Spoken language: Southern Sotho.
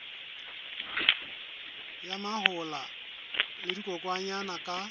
ya mahola le dikokwanyana ka